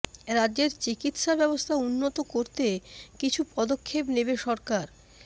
রাজ্যের চিকিৎসা ব্যবস্থা উন্নত করতে কিছু পদক্ষেপ নেবে সরকার